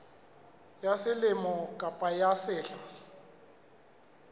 ya selemo kapa ya sehla